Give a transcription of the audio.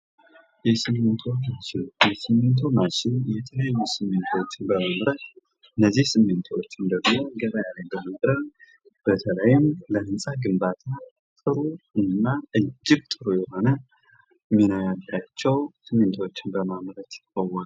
የስሚንቶ ማሽን የተለያዩ ሲሚንቶችን በመምረጥ ገበያ በማቅረብ በተለይም ደግሞ ለህንጻ ግንባታ እጅግ ጠቃሚ ነው ያላቸው ስሚንቶችን በማምረት ይታወቃል።